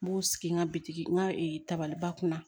N b'u sigi n ka bitiki n ka tabaliba kunna